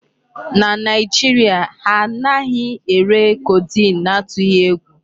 Na Nigeria, ha anaghị ere codeine n'atughi egwu.